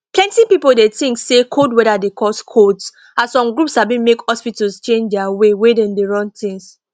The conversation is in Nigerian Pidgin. plenty people dey tink say cold weather dey cause colds as some group sabi make hospitals change their way wey dem dey run things